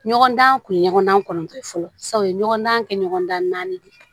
Ɲɔgɔndan kun ye ɲɔgɔn kɔnɔntɔn ye fɔlɔ u ye ɲɔgɔndan kɛ ɲɔgɔndan de ye